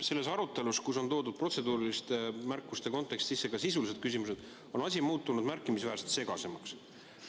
Selles arutelus, kus on protseduuriliste märkuste kontekstis toodud sisse ka sisulised küsimused, on asi muutunud märkimisväärselt segasemaks.